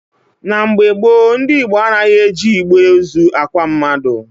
Na mgbe gboo, ndị Igbo anaghị eji igbe ozu akwa mmadụ.